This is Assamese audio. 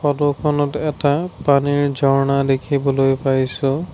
ফটোখনত এটা পানীৰ ঝৰ্ণা দেখিবলৈ পাইছোঁ।